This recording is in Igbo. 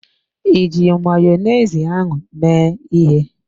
Iji Mayonezi ahụ mee ịhe?